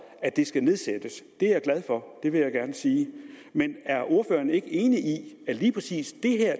skal nedsættes det er jeg glad for det vil jeg gerne sige men er ordføreren ikke enig i at lige præcis